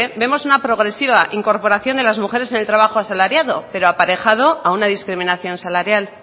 vemos una progresiva incorporación de las mujeres en el trabajo asalariado pero aparejado a una discriminación salarial